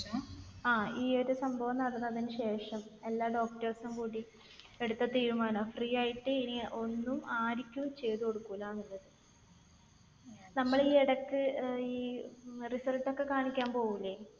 ങ്ഹാ. ഈ ഒരു സംഭവം നടന്നതിന് ശേഷം. എല്ലാ doctors ഉം കൂടി എടുത്ത തീരുമാനമാണ്. free ആയിട്ട് ഇനി ഒന്നും ആർക്കും ചെയ്ത് കൊടുക്കൂലാന്നുള്ളത്. നമ്മൾ ഈ ഇടയ്ക്ക് result ഒക്കെ കാണിക്കാൻ പോവില്ലേ?